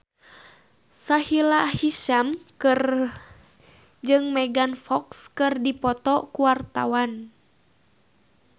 Sahila Hisyam jeung Megan Fox keur dipoto ku wartawan